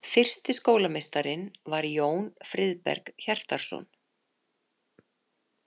Fyrsti skólameistarinn var Jón Friðberg Hjartarson.